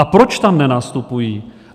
A proč tam nenastupují?